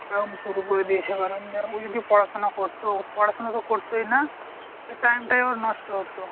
ও এখন শুরু করে দিয়েছে ও যদি পড়াশোনা করতো পড়াশোনা তো করতোই না time টাই ওর নষ্ট হতো।